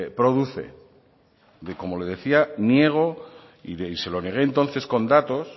produce como le decía niego y se lo negué entonces con datos